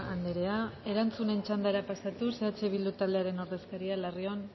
andrea erantzunen txandara pasatuz eh bildu taldearen ordezkaria larrion